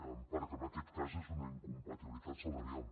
perquè en aquest cas és una incompatibilitat salarial